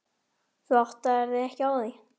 Elsa kinkaði kolli en lagði ekkert til málanna.